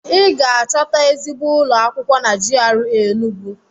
I ga-achọta ezigbo ụlọ akwụkwọ na GRA Enugwu.